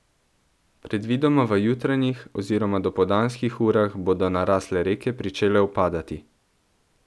Predvidoma v jutranjih oziroma dopoldanskih urah bodo narasle reke pričele upadati.